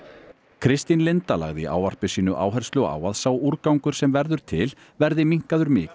Kristín Linda lagði í ávarpi sínu áherslu á að sá úrgangur sem verður til verði minnkaður mikið